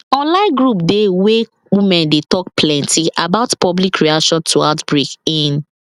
online group dey wey women dey talk plenty about public reaction to outbreak in